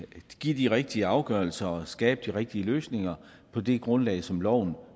give de rigtige afgørelser og skabe de rigtige løsninger på det grundlag som loven